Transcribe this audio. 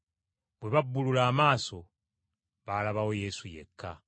Bwe babbulula amaaso, baalabawo Yesu yekka!